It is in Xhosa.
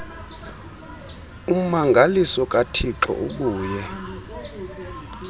ummangaliso kathixo ubuye